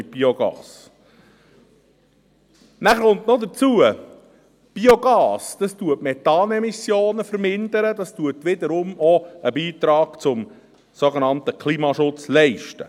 Nachher kommt noch dazu, dass Biogas Methan-Emissionen vermindert, was wiederum einen Beitrag zum sogenannten Klimaschutz leistet.